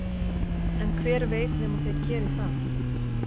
en hver veit nema þeir geri það